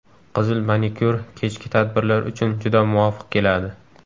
Qizil manikyur kechki tadbirlar uchun juda muvofiq keladi.